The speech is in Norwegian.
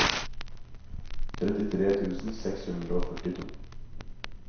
trettitre tusen seks hundre og førtito